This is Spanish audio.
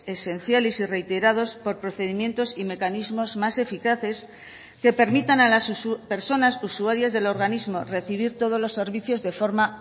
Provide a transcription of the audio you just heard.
esenciales y reiterados por procedimientos y mecanismos más eficaces que permitan a las personas usuarias del organismo recibir todos los servicios de forma